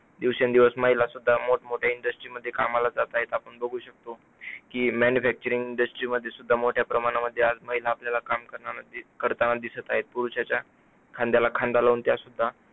दिवसेंदिवस महिला सुद्धा मोठमोठे industry मध्ये कामाला जात आहे, आपण बघू शकतो की manufacturing industry मध्ये सुद्धा मोठ्या प्रमाणामध्ये आज महिला आपल्याला काम करताना करताना दिसत आहेत पुरुषाच्या खांद्याला खांदा लावून त्या सुद्धा